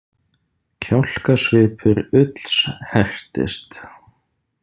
Kjálkasvipur Ulls hertist.